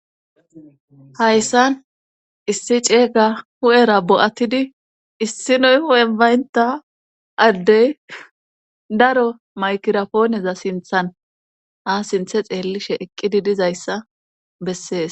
hayssan issi ceega hu7era bo7attidi issinoy hu7en bayntta addey daro maykirapooneza sinthan ha sinthe xeellishe eqqidi dizayssa bessees.